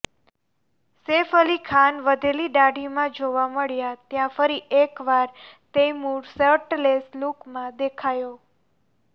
સૈફ અલી ખાન વધેલી દાઢીમાં જોવા મળ્યા ત્યાં ફરી એકવાર તૈમૂર શર્ટલેસ લૂકમાં દેખાયો